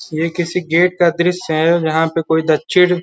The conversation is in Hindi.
ये किसी गेट का दृश्य है और यहाँ पे कोई दक्षिण --